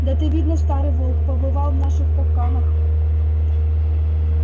да ты видно старый волк побывал в наших капканах